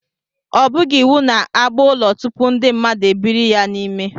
O bughị iwu na agba ụlọ tupu ndị mmadụ ebiri n'ime ya